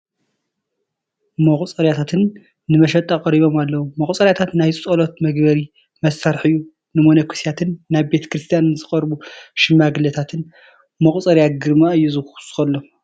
መቑፀርያታት ንመሸጣ ቀሪቦም ኣለዉ፡፡ መቑፀርያ ናይ ፀሎት መግበሪ መሳርሒ እዩ፡፡ ንመነኮሳትን ናብ ቤተ ክርስቲያን ንዝቐረቡ ሽማግለታትን መቑፀርያ ግርማ እዩ ዝውስኸሎም፡፡